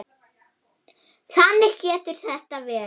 Þannig getur þetta verið.